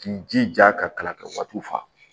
K'i jija ka kala kɛ waatiw fa